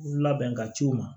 Labɛn ka ci u ma